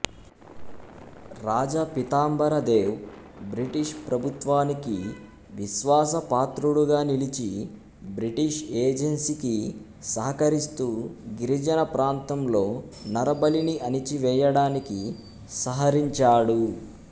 రాజా Pitambara Dev British ప్రభుత్వానికి విశ్వాసపాత్రుడుగా నిలిచి బ్రిటిష్ ఏజెంసీకి సహకరిస్తూ గిరిజన ప్రాంతంలో నరబలిని అణిచివేయడానికి సహరించాడు